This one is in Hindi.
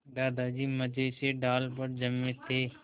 दादाजी मज़े से डाल पर जमे थे